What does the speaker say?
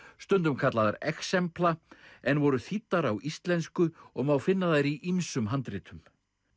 stundum kallaðar en voru þýddar á íslensku og má finna þær í ýmsum handritum